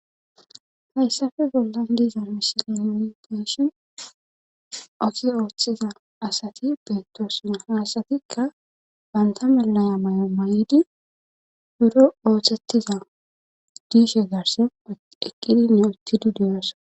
Hayssafe bollan diiza mishilineni geeshin otiza ooththiza asati beettoosina haasatikka banta melaya may'o may'idi buro ooththettiza diishe garse eqqidinne uttidi diyosa.